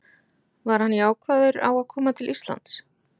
Var hann jákvæður á að koma til Íslands?